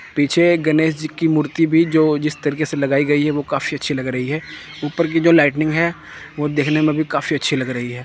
पीछे एक गनेश जी की मूर्ति भी जो जिस तरीके से लगाई गई है वो काफी अच्छी लग रही है ऊपर की जो लाइटनिंग है वह देखने में भी काफी अच्छी लग रही है।